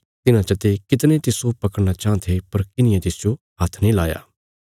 तिन्हां चते कितणे तिस्सो पकड़ना चांह थे पर किन्हिये तिसजो हात्थ नीं लाया